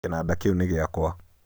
kĩnanda kĩu nĩ gĩakwa